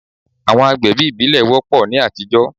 Àwọn àgbẹ̀bí ìbílẹ̀ wọ́pọ̀ ní àtijọ́.